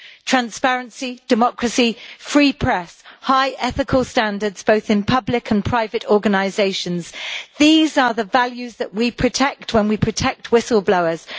Transparency, democracy, free press and high ethical standards both in public and private organisations are the values that we protect when we protect whistle-blowers.